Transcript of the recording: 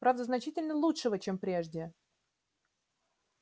правда значительно лучшего чем прежде